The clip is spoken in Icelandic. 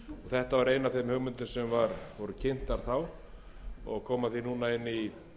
þetta var ein af þeim hugmyndum sem kynntar voru þá og kemur núna inn í